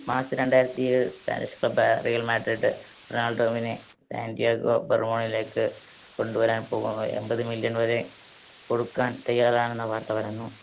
March രണ്ടായിരത്തിയേഴ് spanish club യ Real Madrid റൊണാൾഡോവിനെ സാന്റിയാഗോ ബർബോവിലേക്ക് കൊണ്ടുവരാൻ പോകുന്നത് എൺപത് million വരെ കൊടുക്കാൻ തയ്യാറാണെന്ന വാർത്ത പരന്നു.